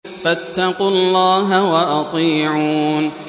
فَاتَّقُوا اللَّهَ وَأَطِيعُونِ